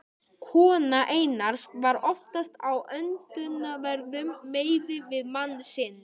Kona Einars var oftast á öndverðum meiði við mann sinn.